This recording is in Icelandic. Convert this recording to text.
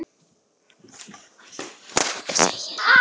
Ég keypti hana sjálf úti í Björnsbakaríi